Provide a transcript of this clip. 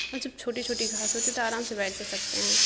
और जब छोटी-छोटी घास होती तो आराम से बैठ भी सकते है।